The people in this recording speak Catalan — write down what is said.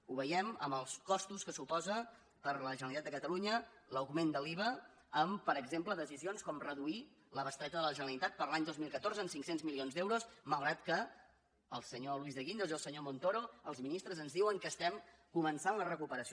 ho veiem en els costos que suposa per a la generalitat de catalunya l’augment de l’iva en per exemple decisions com reduir la bestreta de la generalitat per a l’any dos mil catorze en cinc cents milions d’euros malgrat que el senyor luis de guindos i el senyor montoro els ministres ens diuen que estem començant la recuperació